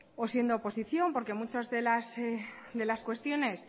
o siendo oposición porque muchas de las cuestiones